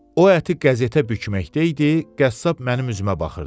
O əti qəzetə bükməkdəydi, qəssab mənim üzümə baxırdı.